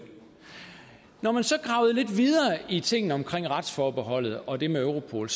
når man så gravede lidt videre i tingene omkring retsforbeholdet og det med europol